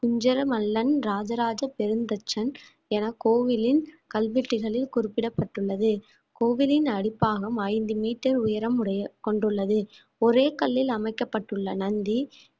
குஞ்சரமல்லன் ராஜராஜ பெருந்தச்சன் என கோவிலின் கல்வெட்டுகளில் குறிப்பிடப்பட்டுள்ளது கோவிலின் அடிப்பாகம் ஐந்து மீட்டர் உயரம் உடைய கொண்டுள்ளது ஒரே கல்லில் அமைக்கப்பட்டுள்ள நந்தி